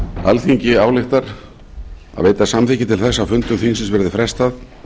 alþingi ályktar að veita samþykki til þess að fundum þingsins verði frestað